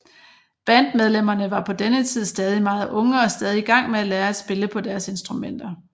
Bandmedlemmerne var på denne tid stadig meget unge og stadig i gang med at lære at spille på deres instrumenter